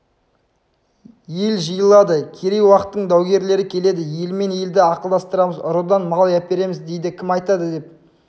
ел жиылады керей уақтың даугерлері келеді елмен елді ақылдастырамыз ұрыдан мал әпереміз дейді кім айтады деп